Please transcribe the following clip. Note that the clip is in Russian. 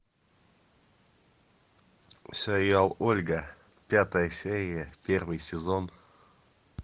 сериал ольга пятая серия первый сезон